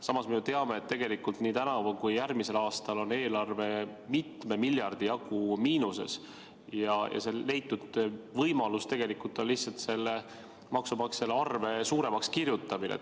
Samas me ju teame, et tegelikult nii tänavu kui ka järgmisel aastal on eelarve mitme miljardi jagu miinuses ja see leitud võimalus on lihtsalt maksumaksja arve suuremaks kirjutamine.